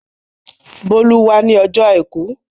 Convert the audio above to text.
Bólú wá ní ọjọ́ àìkú.